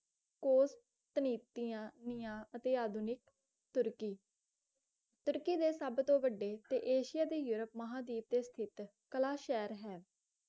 cost ਤਨੀਤੀਆਂ ਨੀਆਂ ਅਤੇ ਆਧੁਨਿਕ ਤੁਰਕੀ ਤੁਰਕੀ ਦੇ ਸਭ ਤੋਂ ਵੱਢੇ ਤੇ ਏਸ਼ੀਆ ਦੇ ਯੂਰੋਪ ਮਹਾਂਦਵੀਪ ਤੇ ਸਥਿਤ ਕਲਾ ਸ਼ਹਿਰ ਹੈ